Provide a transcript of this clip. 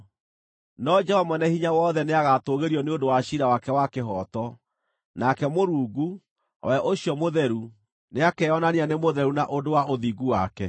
No Jehova Mwene-Hinya-Wothe nĩagatũũgĩrio nĩ ũndũ wa ciira wake wa kĩhooto, nake Mũrungu, o we ũcio mũtheru, nĩakeyonania nĩ mũtheru na ũndũ wa ũthingu wake.